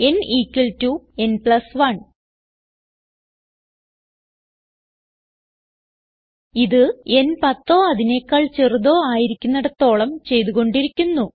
n ഇക്വാൾട്ടോ n plus 1 ഇത് n പത്തോ അതിനെക്കാൾ ചെറുതോ ആയിരിക്കുന്നിടത്തോളം ചെയ്തു കൊണ്ടിരിക്കുന്നു